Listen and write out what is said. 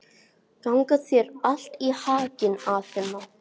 Gangi þér allt í haginn, Aþena.